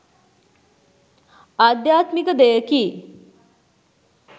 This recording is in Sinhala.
ආධ්‍යාත්මික දෙයකි.